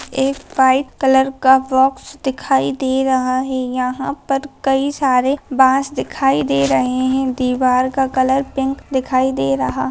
एक white colour का box दिखाई दे रहा है यहां पर कई सारे बांस दिखाई दे रहे है दीवार का कलर पिंक दिखाई दे रहा।